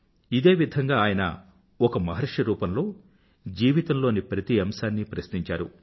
ఇదే విధంగా ఆయన ఒక మహర్షి రూపంలో జీవితంలోని ప్రతి అంశాన్నీ ప్రశ్నించారు